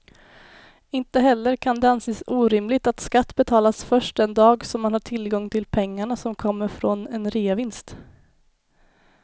Inte heller kan det anses orimligt att skatt betalas först den dag som man har tillgång till pengarna som kommer från en reavinst.